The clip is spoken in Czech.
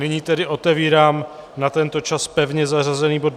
Nyní tedy otevírám na tento čas pevně zařazený bod